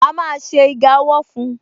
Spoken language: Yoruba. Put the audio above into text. A má ṣe iga ọwọ́ fun